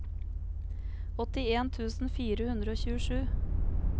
åttien tusen fire hundre og tjuesju